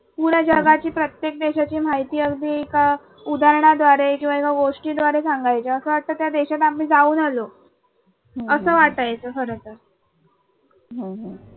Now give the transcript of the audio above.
पूर्ण जगाची प्रत्येक देशाची माहिती अगदी एका उदाहरणाद्वारे किंवा एका गोष्टी द्वारे सांगायची असं वाटतं त्या देशात आम्ही जाऊन आलो असं वाटायचं खरंतर